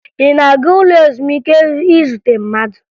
Ị na-aga ụlọ ezumike izute mmadụ?